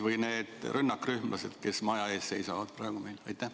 Või nende rünnakrühmlaste peas, kes praegu maja ees seisavad?